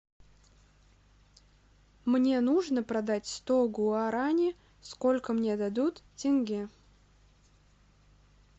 мне нужно продать сто гуарани сколько мне дадут тенге